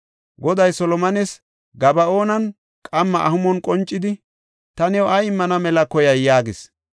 Goday Solomones Gaba7oonan qamma amuhon qoncidi, “Ta new ay immana mela koyay?” yaagis.